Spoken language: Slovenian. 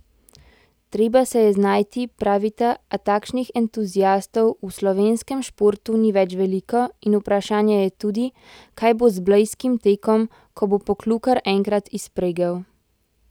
Treba se je znajti, pravita, a takšnih entuziastov v slovenskem športu ni več veliko in vprašanje je tudi, kaj bo z blejskim tekom, ko bo Poklukar enkrat izpregel.